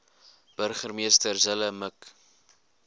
burgemeester zille mik